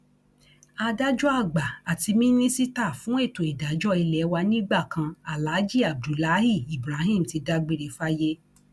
adájọ àgbà àti mínísítà fún ètò ìdájọ ilé wa nígbà kan aláàjì abdullahi ibrahim ti dágbére fáyé